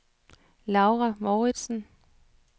Laura Mouritsen